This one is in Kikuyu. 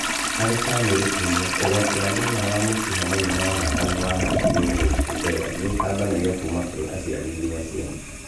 Harĩ bamĩrĩ imwe, ũgwati wa thĩna wa wa mũkiha mũnene wa thakame wa hakiri-inĩ gũkundera nĩũtambanagio kuma kũrĩ aciari nginya ciana